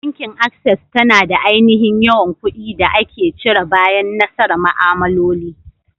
Bankin Access tana da aininhin yawan ƙudi da ake cire bayan nasara ma'amaloli.